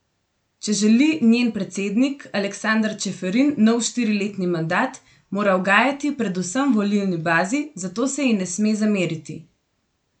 Če želi njen predsednik Aleksander Čeferin nov štiriletni mandat, mora ugajati predvsem volilni bazi, zato se ji ne sme zameriti.